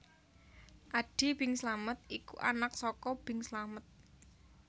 Adi Bing Slamet iku anak saka Bing Slamet